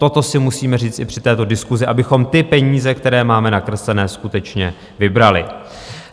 Toto si musíme říct i při této diskusi, abychom ty peníze, které máme nakreslené, skutečně vybrali.